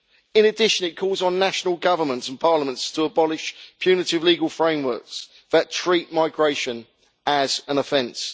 In addition, it calls on national governments and parliaments to abolish punitive legal frameworks that treat migration as an offence.